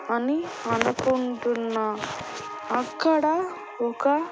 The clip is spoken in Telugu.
అని అనుకుంటున్నా అక్కడ ఒక.